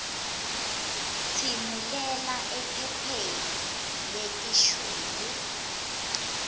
tsimulela ephepheni letishuyu